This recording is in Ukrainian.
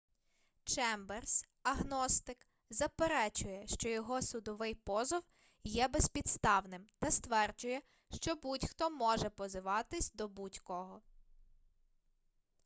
чемберс агностик заперечує що його судовий позов є безпідставним та стверджує що будь-хто може позиватись до будь-кого